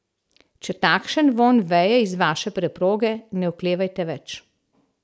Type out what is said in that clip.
Če takšen vonj veje iz vaše preproge, ne oklevajte več.